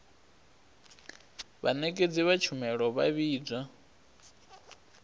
vhanekedzi vha tshumelo vha vhidzwa